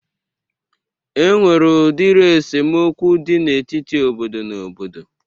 E nwere udiri esemokwu dị n'etiti obodo na obodo